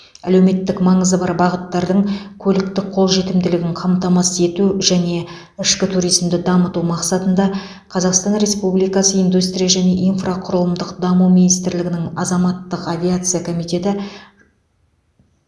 әлеуметтік маңызы бар бағыттардың көліктік қолжетімділігін қамтамасыз ету және ішкі туризмді дамыту мақсатында қазақстан республикасы индустрия және инфрақұрылымдық даму министрлігінің азаматтық авиация комитеті